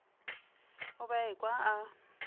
o be a ekwa a